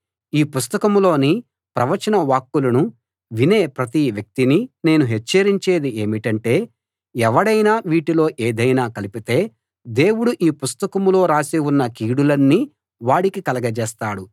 ఈ పుస్తకంలోని ప్రవచనవాక్కులను వినే ప్రతి వ్యక్తినీ నేను హెచ్చరించేది ఏమిటంటే ఎవడైనా వీటిలో ఏదైనా కలిపితే దేవుడు ఈ పుస్తకంలో రాసి ఉన్న కీడులన్నీ వాడికి కలగజేస్తాడు